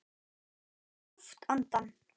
Hann dró djúpt andann.